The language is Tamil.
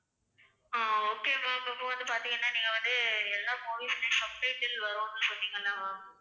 ஆஹ் okay ma'am. இப்போ வந்து பார்த்தீங்கன்னா நீங்க வந்து எல்லா movies மே subtitle வரும்ன்னு சொன்னீங்கல்ல ma'am